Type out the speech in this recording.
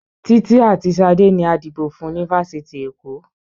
Títí àti Ṣadé ni a dìbò fún ni fáfitì Èkó